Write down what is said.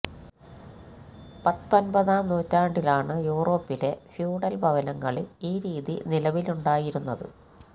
പത്തൊമ്പതാം നൂറ്റാണ്ടിലാണ് യൂറോപ്പിലെ ഫ്യൂഡൽ ഭവനങ്ങളിൽ ഈ രീതി നിലവിലുണ്ടായിരുന്നത്